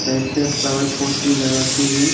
Side पे flower pot भी लगा के हैं।